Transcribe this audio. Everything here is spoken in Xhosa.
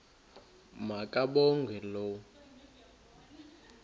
ma kabongwe low